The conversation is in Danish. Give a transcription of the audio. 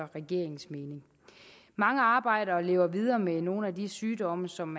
regeringens mening mange arbejder og lever videre med nogle af de sygdomme som